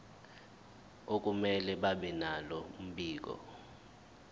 akumele babenalo mbiko